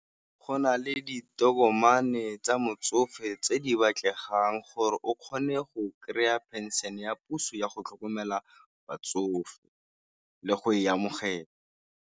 Go na le ditokomane tsa motsofe tse di batlegang, gore o kgone go kry-a pension ya puso yago tlhokomela batsofe le go e amogela.